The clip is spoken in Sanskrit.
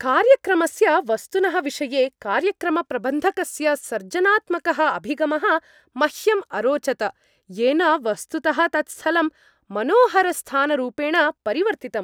कार्यक्रमस्य वस्तुनः विषये कार्यक्रमप्रबन्धकस्य सर्जनात्मकः अभिगमः मह्यम् अरोचत, येन वस्तुतः तत्स्थलं मनोहरस्थानरूपेण परिवर्तितम्।